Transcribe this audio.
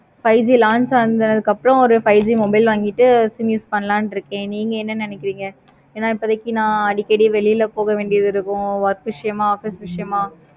five G launch ஆனதுக்கு அப்பறம் five G mobile வாங்கிட்டு use பண்ணலாமுன்னு இருக்கேன். நீங்க என்ன நினைக்கிறீங்க. இப்போதைக்கு நா அடிக்கடி வெளியில போகோ வேண்டியது இருக்கும். work விஷயமா office விஷயமா